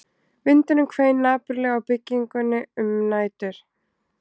Vindurinn hvein napurlega á byggingunni um nætur